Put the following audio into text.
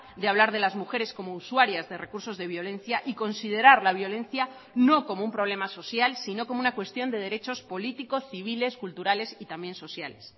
de hablar de las mujeres como usuarias de recursos de violencia y considerar la violencia no como un problema social sino como una cuestión de derechos políticos civiles culturales y también sociales